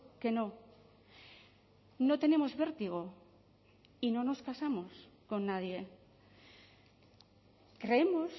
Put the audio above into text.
que no no tenemos vértigo y no nos casamos con nadie creemos